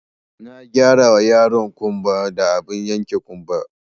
Na gyarawa yaro ƙumba da abin yanke ƙumba